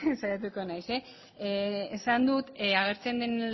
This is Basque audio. saiatuko naiz esan dut agertzen den